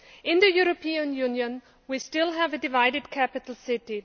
In the European Union, we still have a divided capital city.